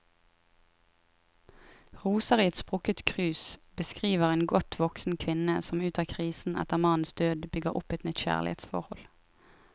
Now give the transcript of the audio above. Roser i et sprukket krus beskriver en godt voksen kvinne som ut av krisen etter mannens død, bygger opp et nytt kjærlighetsforhold.